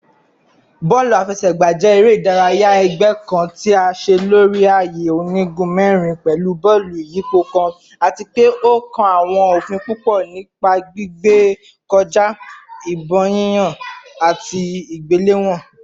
Bọọlu afẹsẹgba jẹ ere-idaraya ẹgbẹ kan ti a ṣe lori aaye onigun mẹrin pẹlu bọọlu iyipo kan ati pe o kan awọn ofin pupọ nipa gbigbe kọja, ibon yiyan, ati igbelewọn